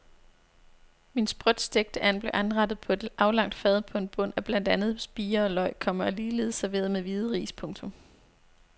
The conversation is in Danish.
Min sprødt stegte and blev anrettet på et aflangt fad på en bund af blandt andet spirer og løg, komma og ligeledes serveret med hvide ris. punktum